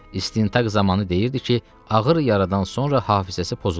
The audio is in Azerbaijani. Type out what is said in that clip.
İstintaq zamanı deyirdi ki, ağır yaradan sonra hafizəsi pozulub.